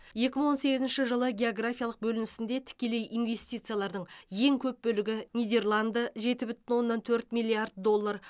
екі мың он сегізінші жылы географиялық бөлінісінде тікелей инвестициялардың ең көп бөлігі нидерланды жеті бүтін оннан төрт миллиард доллар